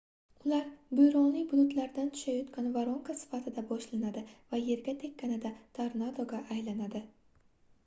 ular bo'ronli bulutlardan tushayotgan voronka sifatida boshlanadi va yerga tekkanida tornadolar"ga aylanadi